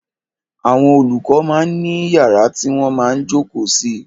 Àwọn olùkọ máa ń ní yàrá tí wọ́n máa ń jókòó sí.